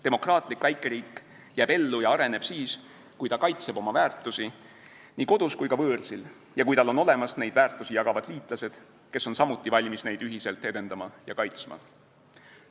Demokraatlik väikeriik jääb ellu ja areneb siis, kui ta kaitseb oma väärtusi nii kodus kui ka võõrsil ja kui tal on olemas neid väärtusi jagavad liitlased, kes on samuti valmis neid ühiselt edendama ja kaitsma.